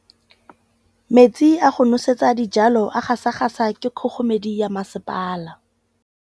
Metsi a go nosetsa dijalo a gasa gasa ke kgogomedi ya masepala.